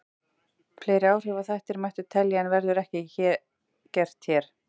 Fleiri áhrifaþætti mætti telja en verður ekki gert hér.